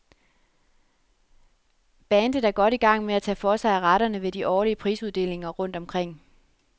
Bandet er godt i gang med at tage for sig af retterne ved de årlige prisuddelinger rundt omkring.